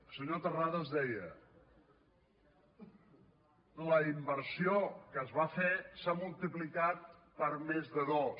el senyor terrades deia la inversió que es va fer s’ha multiplicat per més de dos